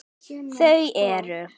Þau eru